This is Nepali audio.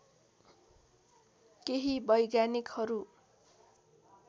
केही वैज्ञानिकहरु